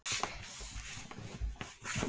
Íslandi var aftur á móti gnægð lands en fátt fólk.